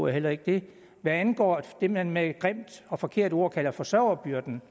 heller ikke det hvad angår det man med et grimt og forkert ord kalder forsørgerbyrden